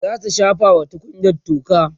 zasu shafa wa tukunyan toka